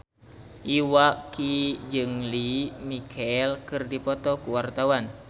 Iwa K jeung Lea Michele keur dipoto ku wartawan